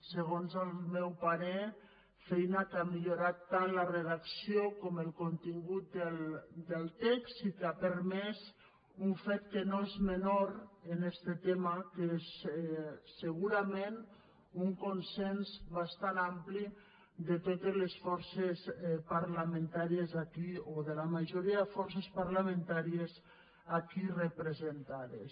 segons el meu parer feina que ha millorat tant la redacció com el contingut del text i que ha permès un fet que no és menor en este tema que és segurament un consens bastant ampli de totes les forces parlamentàries aquí o de la majoria de forces parlamentàries aquí representades